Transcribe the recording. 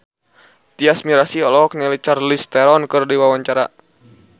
Tyas Mirasih olohok ningali Charlize Theron keur diwawancara